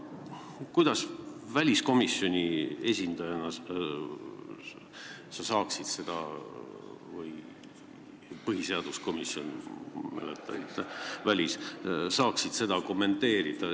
Kuidas sa väliskomisjoni esindajana saaksid seda kommenteerida?